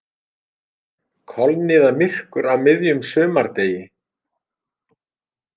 Kolniðamyrkur á miðjum sumardegi